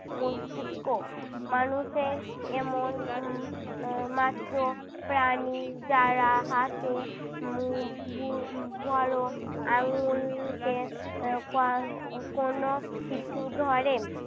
মস্তিস্ক। মানুষের এমন উহ আহ মাত্র প্রাণী যারা হাতে বড়ো আঙ্গুলকে আহ ক~ আহ কোনো কিছু ধরে